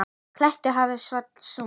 klettur í hafi, ávallt sönn.